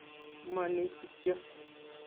Moni kityo